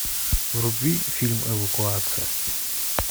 вруби фильм эвакуация